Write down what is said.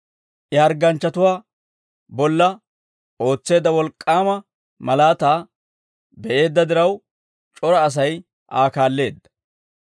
I hargganchchatuwaa bolla ootseedda wolk'k'aama malaataa be'eedda diraw, c'ora Asay Aa kaalleedda.